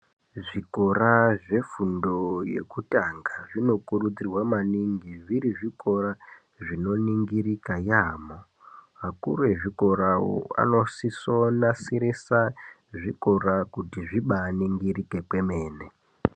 Zvikora zvefundo yekutanga zvinokurudzirwa maningi zviri zvikora zvino ningirika yaamho akuru ezvikorawo anosiso nasirisa zvikora kut zvibaaningirika kwemene.